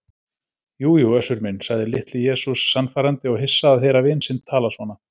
Jú jú Össur minn, sagði Litli-Jesús sannfærandi og hissa að heyra vin sinn tala svona.